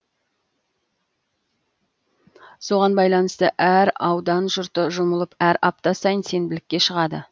соған байланысты әр аудан жұрты жұмылып әр апта сайын сенбілікке шығады